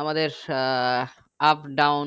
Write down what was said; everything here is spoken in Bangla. আমাদের সা up down